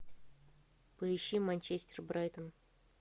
поищи манчестер брайтон